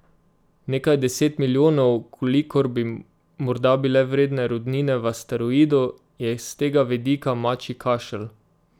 Nekaj deset milijonov, kolikor bi morda bile vredne rudnine v asteroidu, je s tega vidika mačji kašelj.